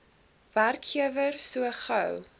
werkgewer so gou